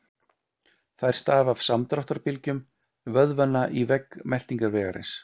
Þær stafa af samdráttarbylgjum vöðvanna í vegg meltingarvegarins.